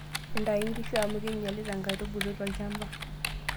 Ntayu nkishu amu keinyalita nkaitubulu tolchamba.